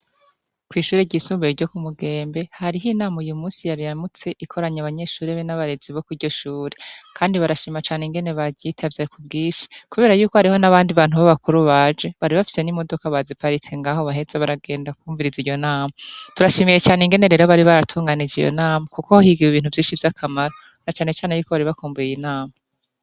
ku ishuri ry'isumbuye ryo kumugembe hariho inama uyu munsi yariyamutse ikoranya abanyeshuri be n'abarezi bo ku iryo shure, kandi barashima cane ingene baryitavye ku bwishi, kubera y'uko hariho n'abandi bantu b'abakuru baje bari bafise n'imodoka baziparitse ngaho baraheza baragenda kwumviriza iryo nama, turashimiye cane ingene rero bari baratunganije iyo nama kuko higiwe ibintu vyinshi vy'akamaro, na cane cane y'uko bari bakumbuye inama.